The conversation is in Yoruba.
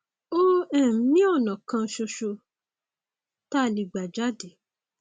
òun um ni ọnà kan ṣoṣo tá a lè gbà jáde